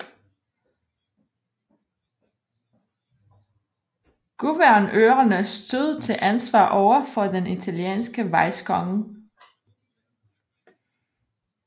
Guvernørerne stod til ansvar overfor den italienske vicekonge